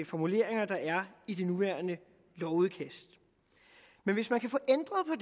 formuleringer der er i det nuværende lovudkast men hvis man kan få ændret på